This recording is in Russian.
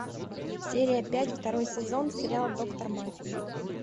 серия пять второй сезон сериал доктор мафии